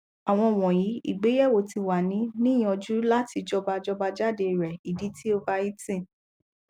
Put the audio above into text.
awọn wọnyi igbeyewo ti wa ni niyanju lati jọba jọba jade rẹ idi ti overeating